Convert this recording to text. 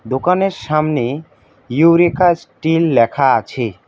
দোকানের সামনে eureka steel লেখা আছে।